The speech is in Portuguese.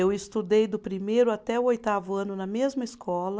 Eu estudei do primeiro até o oitavo ano na mesma escola.